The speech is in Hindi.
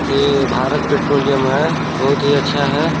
ये भारत पेट्रोलियम है बहुत ही अच्छा है।